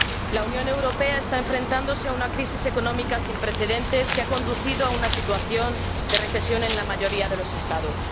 La Unión Europea está enfrentándose a una crisis económica sin precedentes que ha conducido a una situación de recesión en la mayoría de los Estados.